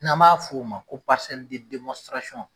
N'an b'a f'o ma ko